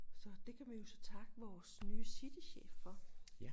Så det kan vi jo så takke vores nye citychef for